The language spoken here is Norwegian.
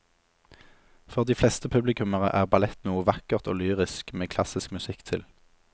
For de fleste publikummere er ballett noe vakkert og lyrisk med klassisk musikk til.